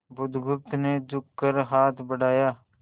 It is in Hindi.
बुधगुप्त ने झुककर हाथ बढ़ाया